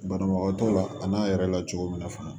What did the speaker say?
Banabagatɔw la a n'a yɛrɛ la cogo min na fana